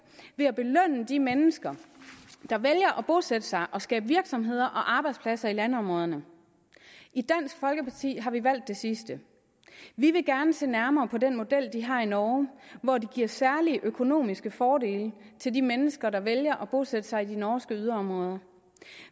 ved at belønne de mennesker der vælger at bosætte sig og skabe virksomheder og arbejdspladser i landområderne i dansk folkeparti har vi valgt det sidste vi vil gerne se nærmere på den model de har i norge hvor de giver særlige økonomiske fordele til de mennesker der vælger at bosætte sig i de norske yderområder